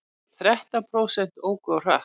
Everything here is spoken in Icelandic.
Þrettán prósent óku of hratt